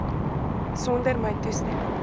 sonder my toestemming